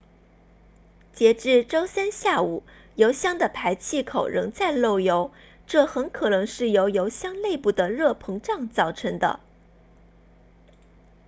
截至周三下午油箱的排气口仍在漏油这很可能是由油箱内部的热膨胀造成的